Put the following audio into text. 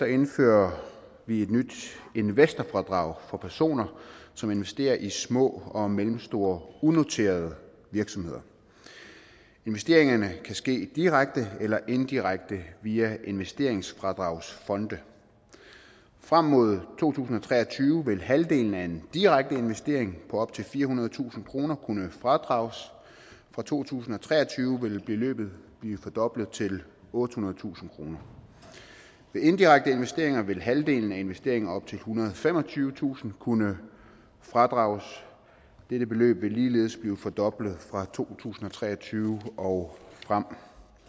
indfører vi et nyt investorfradrag for personer som investerer i små og mellemstore unoterede virksomheder investeringerne kan ske direkte eller indirekte via investeringsfradragsfonde frem mod to tusind og tre og tyve vil halvdelen af en direkte investering på op til firehundredetusind kroner kunne fradrages fra to tusind og tre og tyve vil beløbet blive fordoblet til ottehundredetusind kroner ved indirekte investeringer vil halvdelen af investeringer op til ethundrede og femogtyvetusind kroner kunne fradrages dette beløb vil ligeledes blive fordoblet fra to tusind og tre og tyve og frem